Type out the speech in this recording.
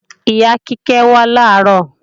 Ìyá Kíkẹ́ wá làárọ̀